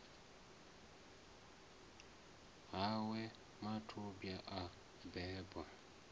ha we mathubwa a beba